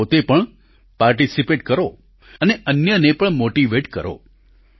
આપ પોતે પણ પાર્ટિસીપેટ કરો અને અન્યને પણ મોટિવેટ કરો